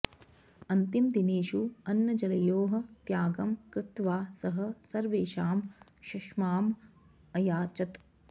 अन्तिमदिनेषु अन्नजलयोः त्यागं कृत्वा सः सर्वेषां क्षमाम् अयाचत